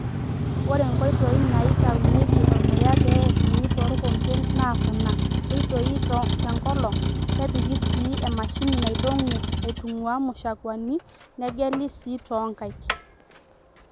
Ore nkoitoi naaitaunyeki ormuya pee eshumi too rkompen naa kuna; keitoi te nkolong', kepiki sii emashini naidong'u aitung'uaa mushakwani, negeli sii too nkaik.